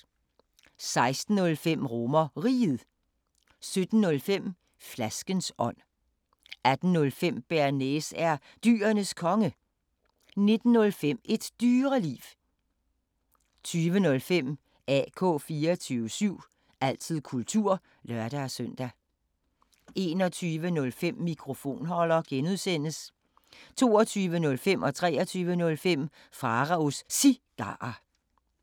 16:05: RomerRiget 17:05: Flaskens ånd 18:05: Bearnaise er Dyrenes Konge 19:05: Et Dyreliv 20:05: AK 24syv – altid kultur (lør-søn) 21:05: Mikrofonholder (G) 22:05: Pharaos Cigarer 23:05: Pharaos Cigarer